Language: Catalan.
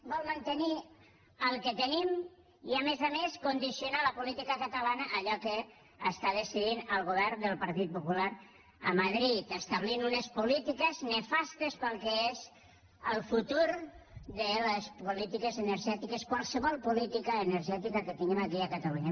vol mantenir el que tenim i a més a més condicionar la política catalana a allò que està decidint el govern del partit popular a madrid en establir unes polítiques nefastes per al que és el futur de les polítiques energètiques qualsevol política energètica que tinguem aquí a catalunya